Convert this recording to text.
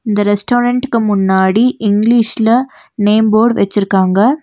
இந்த ரெஸ்டாரண்டுக்கு முன்னாடி இங்கிலீஷ்ல நேம் போர்டு வச்சிருக்காங்க.